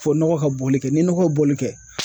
Fo nɔgɔ ka bɔli kɛ ni nɔgɔ ye boli kɛ